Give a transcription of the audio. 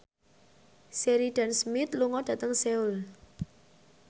Sheridan Smith lunga dhateng Seoul